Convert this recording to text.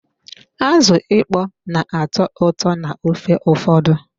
Azụ ịkpọ n'atọ ụtọ n'ofe ụfọdụ.